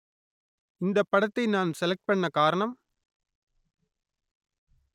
இந்தப் படத்தை நான் செலக்ட் பண்ண காரணம்